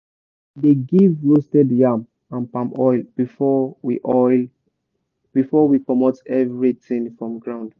we dey give roasted yam and palm oil before we oil before we comot everything from ground.